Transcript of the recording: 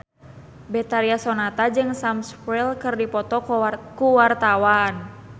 Betharia Sonata jeung Sam Spruell keur dipoto ku wartawan